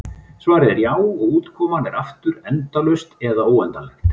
Svarið er já, og útkoman er aftur endalaust eða óendanlegt.